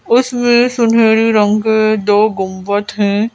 उसमें सुनहरी रंग के दो गुंवत हैं।